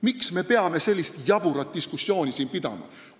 Miks me peame siin sellist jaburat diskussiooni pidama?